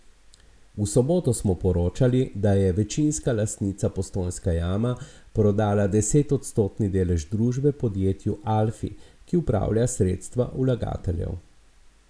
V soboto smo poročali, da je večinska lastnica Postojnska jama prodala desetodstotni delež družbe podjetju Alfi, ki upravlja sredstva vlagateljev.